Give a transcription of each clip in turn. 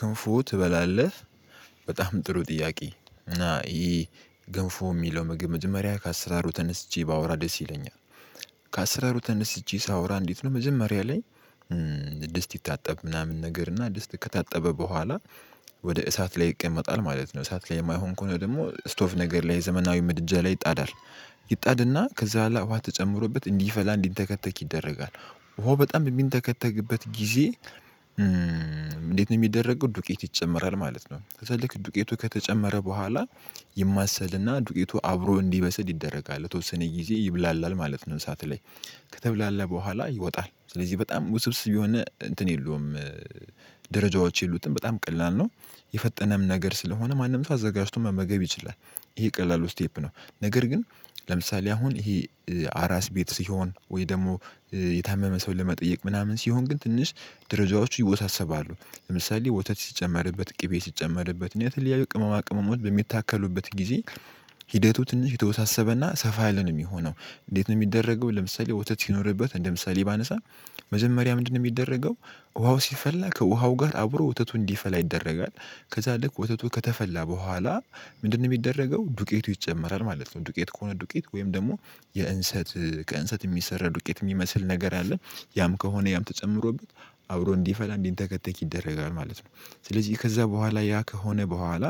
ግንፎ ትበላለህ? በጣም ጥሩ ጥያቄ እና ይሄ ገንፎ የሚለው ምግብ መጀመሪያ ከአስራሩ ተነስቼ ባወራ ደስ ይለኛል። ከአስራሩ ተነስቼ ሳወራ እንዴት ነው መጀመሪያ ድስት ይታጠብ ምናምን ነገር እና ድስት ከታጠበ በኋላ ወደ እሳት ላይ ይቀመጣል ማለት ነው። እሳት ከማይሆን ከሆነ ደግሞ ስቶቭ ነገር ላይ ዘመናዊ ምድጃ ላይ ይጣዳል። ይጣድና ከዛ በኋላ ውሃ ተጨምሮበት እንዲፈላ እንዲተከተክ ይደረጋል። ውሃው በጣም በሚንተከተክበት ጊዜ እንዴት ነው የሚደረገው ዱቄት ይጨመራል ማለት ነው። ከዛ ልክ ዱቄቱ ከተጨመረ በኋላ ይማሰልና ዱቄቱ አብሮ እንዲበሰል ይደረጋል ለተወሰነ ጊዜ ይብላላል ማለት ነው። እሳት ላይ ከተብላላ በኋላ ይወጣል ስለዚህ በጣም ውስብስብ የሆነ እንትን የለውም። ደረጃዎች የሉትም በጣም ቀላል ነው። የፈጠነም ነገር ስለሆነ ማንም ተዘጋጅቶ መመገብ ይችላል። ይሄ ቀላሉ ስቴፕ ነው። ነገር ግን ለምሳሌ አሁን ይሄ አራስ ቤት ሲሆን ወይ ደሞ የታመመ ሰው ለመጠየቅ ምናምን ሲሆን ግን ትንሽ ድረጃዎቹ ይወሳሰባሉ። ለምሳሌ ወተት ሲጨመርበት ቅቤ ሲጨመርበት እና የተለያዩ ቅመማ ቅመሞች በሚታከሉበት ጊዜ ሂደቱ ትንሽ የተወሳሰበና ሰፋ ያለ ነው ሚሆነው። እንዴት ነው ሚደረገው ለምሳሌ ወተት ሲኖርበት እንደምሳሌ ባነሳ መጀመሪያ ምንድነው ሚደረገው? ውሃው ሲፈላ ከውሃው ጋር አብሮ ወተቱ እንዲፈላ ይደረጋል። ከዛ ልክ ወተቱ ከተፈላ በኋላ ምንድነው የሚደረገው ዱቄቱ ይጨመራል ማለት ነው። ዱቄት ከሆነ ዱቄት ወይም ደግሞ የእንሰት ከእንሰት እሚሰራ ዱቄት ሚመስል ነገር አለ። ያም ከሆነ ያም ተጨምሮበት አብሮ እንዲፈላ እንዲንተከተክ ይደረጋል ማለት ነው። ስለዚህ ከዛ በኋላ ያ ከሆነ በኋላ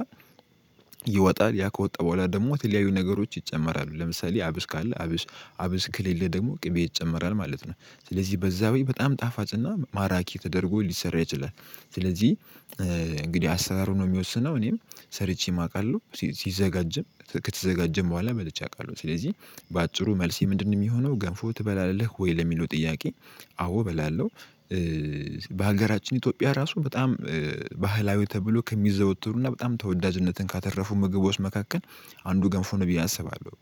ይወጣል። ያ ከወጣ በኋላ ደግሞ የተለያዩ ነገሮች ይጨመራሉ ለምሳሌ አብሽ ካለ አብሽ አብሽ ከሌለ ደግሞ ቅቤ ይጨመራል ማለት ነው። ስለዚህ በዛ ወይ በጣም ጣፋጭና ማራኪ ተደርጎ ሊሰራ ይችላል። ስለዚህ እንግዲህ አሰራሩ ነው የሚወስነው እኔም ሰርቼ ማውቃለሁ። ሲዘጋጅም ከተዘጋጀም በኋላ በልቼ አቃለሁ። ስለዚህ በአጭሩ መልሴ ምንድን ነው ሚሆነው? ገንፎ ትበላለህ ወይ ለሚለው ጥያቄ አዎ እበላለሁ። በሀገራችን ኢትዮጵያ ራሱ በጣም ባህላዊ ተብሎ ከሚዘወተሩ እና በጣም ተወዳጅነትን ካተረፉ ምግቦች መካከል አንዱ ገንፎ ነው ብየ አስባለሁ።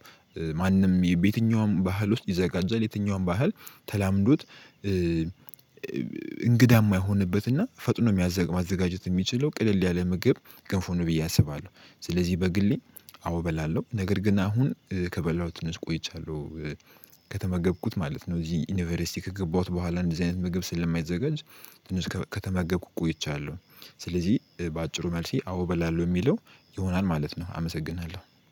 ማንም በየትኛውም ባህል ውስጥ ይዘጋጃል የትኛውም ባህል ተላምዶት የማይሆንበትና ፈጥኖ ማዘጋጀት ሚችለው ቅልል ያለ ምግብ ገንፎ ብዬ አስባለሁ። ስለዚህ በግሌ አዎ እበላለሁ ነገር ግን አሁን ከበላሁ ትንሽ ቆይቻለሁ። ከተመገብኩት ማለት ነው እዚህ ዩኒቨርሲቲ ከገባሁት በኋላ እንደዚህ አይነት ምግብ ስለማይዘጋጅ ትንሽ ከተመገብኩ ቆይቻለሁ። ስለዚህ በአጭሩ መልሴ አዎ እበላለው የሚለው ይሆናል ማለት ነው። አመሰግናለሁ